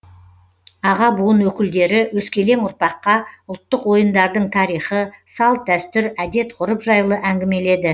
аға буын өкілдері өскелең ұрпаққа ұлттық ойындардың тарихы салт дәстүр әдет ғұрып жайлы әңгімеледі